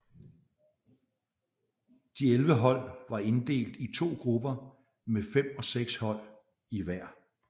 De 11 hold var inddelt i to grupper med fem og seks hold i hver